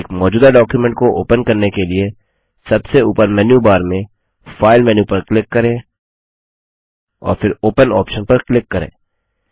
एक मौजूदा डॉक्युमेंट को ओपन करने के लिए सबसे ऊपर मेन्यू बार में फाइल मेन्यू पर क्लिक करें और फिर ओपन ऑप्शन पर क्लिक करें